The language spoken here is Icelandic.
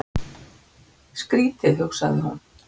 Skrýtið, hugsaði hún.